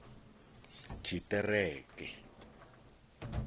tshiṱereke